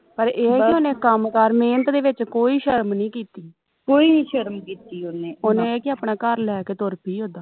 ਪਰ ਇਹ ਕਿ ਉਹਨੇ ਕੰਮ ਕਾਰ ਮਿਹਨਤ ਦੇ ਵਿਚ ਕੋਈ ਸ਼ਰਮ ਨਹੀਂ ਕੀਤੀ ਕੋਈ ਵੀ ਸ਼ਰਮ ਕੀਤੀ ਉਹਨੇ ਉਹਨੇ ਕਿ ਆਪਣਾ ਘਰ ਲੈ ਕੇ ਤੁਰ ਪਈ ਉਦਾ